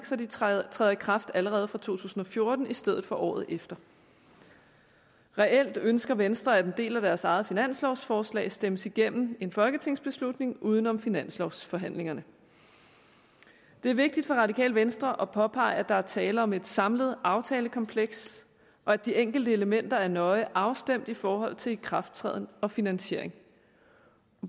så de træder træder i kraft allerede for to tusind og fjorten i stedet for året efter reelt ønsker venstre at en del af deres eget finanslovsforslag stemmes igennem en folketingsbeslutning uden om finanslovsforhandlingerne det er vigtigt for radikale venstre at påpege at der er tale om et samlet aftalekompleks og at de enkelte elementer er nøje afstemt i forhold til ikrafttræden og finansiering